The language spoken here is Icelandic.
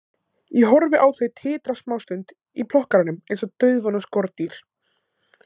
Ég horfi á þau titra smástund í plokkaranum eins og dauðvona skordýr.